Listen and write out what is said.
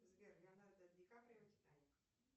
сбер леонардо ди каприо титаник